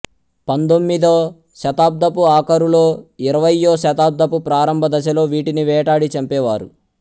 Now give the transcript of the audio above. పందొమ్మిదో శతాబ్దపు ఆఖరులో ఇరవయ్యో శతాబ్దపు ప్రారంభ దశలో వీటిని వేటాడి చంపేవారు